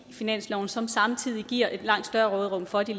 finansloven som samtidig giver et langt større råderum for de